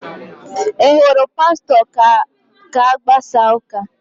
Ị hụrụ Pastọ ka a gbasara ụ́kà?